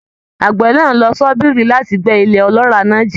Àgbẹ̀ náà lo ṣọ́bìrì láti gbẹ́ ilẹ̀ ọlọ́ràá náà jìn.